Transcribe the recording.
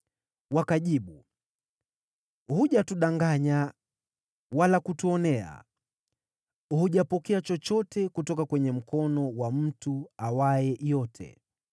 Wakajibu, “Hujatudanganya wala kutuonea. Hujapokea chochote kutoka kwenye mkono wa mtu awaye yote.”